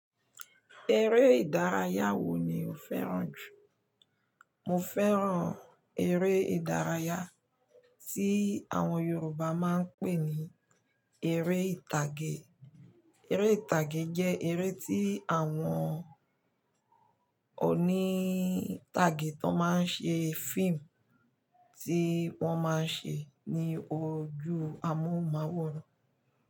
Eré ìdárayá wo ni o fẹ́ràn jù? Mo fẹ́ràn eré ìdárayá tí àwọn Yorùbá máa ń pè ní "Eré Ìtàgé". Eré ìtàgé jẹ́ eré tí àwọn oní ìtàgé tó máa ń ṣe fíìmù tí wọ́n máa ń ṣe ní ojú amóhùnmáwòrán.